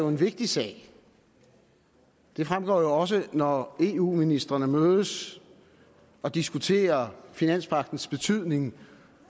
en vigtig sag det fremgår jo også når eu ministrene mødes og diskuterer finanspagtens betydning